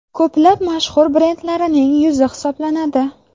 Ko‘plab mashhur brendlarining yuzi hisoblanadi.